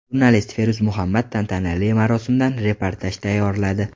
Jurnalist Feruz Muhammad tantanali marosimdan reportaj tayyorladi.